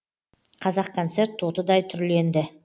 қазақконцерт тотыдай түрленді